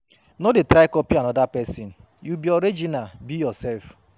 No de try copy another persin, you be original, be yourself